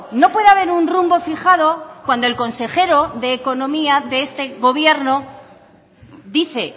no puede haber un rumbo fijado cuando el consejero de economía de este gobierno dice